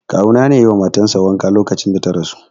Kawu na ne yayi wa matan sa wanka lokacin da ta rasu.